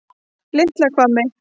Litla Hvammi